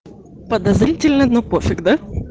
подозрительный но пофиг да